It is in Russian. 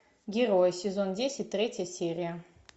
герой сезон десять третья серия